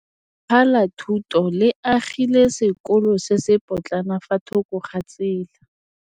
Lefapha la Thuto le agile sekôlô se se pôtlana fa thoko ga tsela.